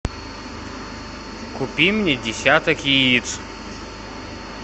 купи мне десяток яиц